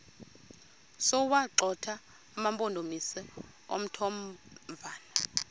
sokuwagxotha amampondomise omthonvama